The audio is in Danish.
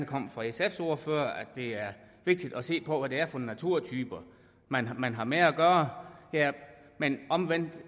kom fra sfs ordfører om at det er vigtigt at se på hvad det er for naturtyper man har man har med at gøre men omvendt